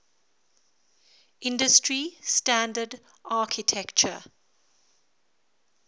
industry standard architecture